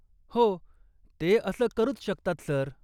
हो, ते असं करूच शकतात, सर.